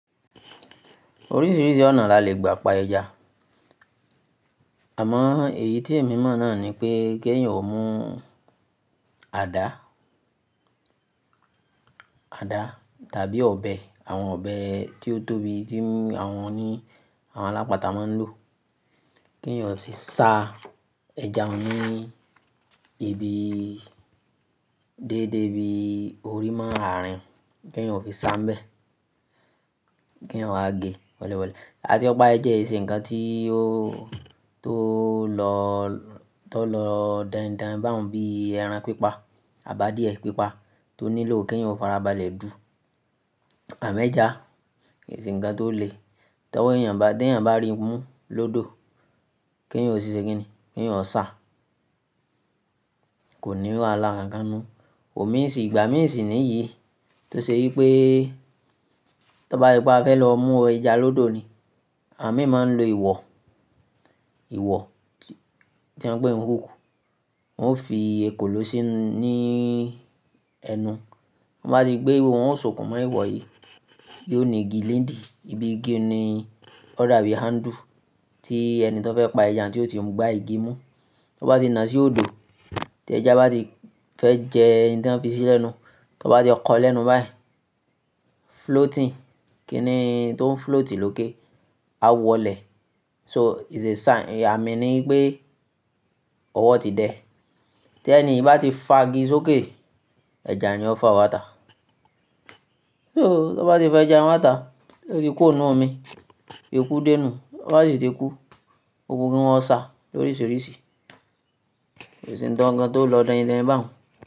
Oríṣiríṣi ọ̀nà la le gba pa ẹja. Àmọ́ èyí tí èmi mọ̀ náà ni pé kí ẹ̀yin o mú àdá àdá tàbí ọ̀bẹ, àwọn ọ̀bẹ tí ó tóbi tí àwọn oní àwọn alápàtà máa ń lò. Ki èèyan o sì sá ẹja ní ibi déédé bi orí mọ árín, kí èèyan o fi sá bẹ́ẹ̀. Kí èèyan o wá gé wẹ́lẹ́wẹ́lẹ́. A ti pá ẹja kì ṣe ǹkan tí ó tó lọ, tó lọ dáńdán báun bí ẹran pípa, àbi adíyẹ̀ pípa tó nílò kí èèyan o farabalẹ̀ dù. Àmọ ẹ́jà kì ṣe ǹkan tó le. Tí ọwọ́ èèyàn bá, tí èèyan bá rí mú lódò, kí èèyan o si ṣé kí ni? Kí ẹ̀yin o sá. Kò ní wàhalá rara ninu. Ò mí sì, ìgbà mí sì níyìí tó ṣe wí pé tí o bá ṣe pé a fẹ́ lọ mú ẹja lódò ni, àwọn míì máa ń lo ìwọ̀ ìwọ̀, tí wọ́n ń pè ní rúkù. Wọn ó fi ekòló sí ní ẹnu. Wọn bá ti gbé íwọ́ wọn ó sokún mọ́ ìwọ̀ yìí. Yóò ní igi nidì, ibi igi ni ó dàbí handle tí ẹni tí ó fẹ́ pa ẹja tí ó ti gbá igi mú. Tí wọ́n bá ti nà sí òdo, tí ẹja bá ti fẹ́ jẹ oun tí wọ́n fi sí lẹ́nu, tí o bá ti kọ́ lẹ́nu báyìí, floating, kí ni tó ń float lókè? A wọlẹ̀. So it's a sign, àmín ni wípé ọwọ́ ti dẹ. Tí ẹni yiì bá ti fa igi sókè, ẹja ni ó fa wá tà. So tí wọ́n bá ti fẹ́ ẹja wá tà, ó ti kúro nínú omi, iku dé nù. Tí o bá sì ti kú, o ku kí wọ́n sá loríṣiríṣi kì ṣe ǹkankan tó lọ dáińdáin báun.